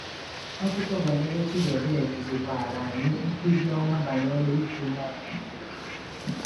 Akụkọ banyere Chidiebere kụzikwara anyị nkuzi ọma banyere ịdị umeala n’obi.